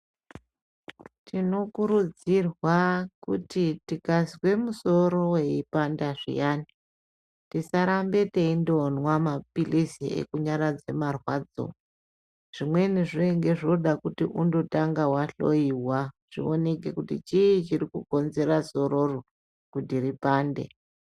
Tinokurudzirwa kuti tikazwe musoro weipanda zviyani tisarambe teindomwa mapilisi ekunyaradza marwadzo zvimweni zvinenge zvoda kuti undotanga wahloyiwa zvioneke kuti chii chirikukonzera sororo kuti ripande.